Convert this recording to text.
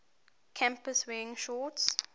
campus wearing shorts